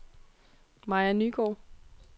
Maja Nygaard